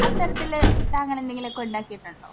അത്തരത്തിൽ താങ്കൾ എന്തെങ്കിലുമൊക്കെ ഉണ്ടാക്കിയിട്ടുണ്ടോ?